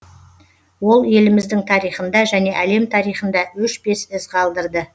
ол еліміздің тарихында және әлем тарихында өшпес із қалдырды